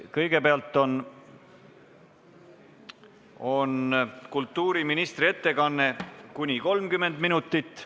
Kõigepealt on kultuuriministri ettekanne kuni 30 minutit.